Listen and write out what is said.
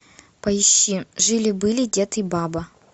поищи жили были дед и баба